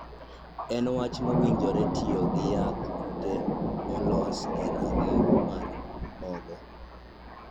En wach mowinjore tiyo gi yadh kute molos e rang'iny mar mogo